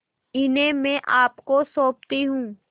इन्हें मैं आपको सौंपती हूँ